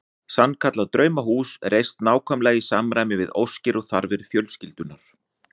Sannkallað draumahús reist nákvæmlega í samræmi við óskir og þarfir fjölskyldunnar.